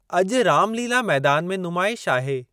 अॼु राम लीला मैदान में नुमाइश आहे।